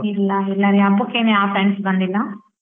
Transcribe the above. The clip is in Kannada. ಇಲ್ಲ ಇಲ್ಲರಿ ಹಬ್ಬಕ್ಕೆನ್ ಯಾವ್ friends ಬಂದಿಲ್ಲ.